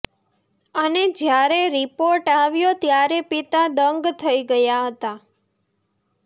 અને જ્યારે રિપોર્ટ આવ્યો ત્યારે પિતા દંગ થઈ ગયા હતા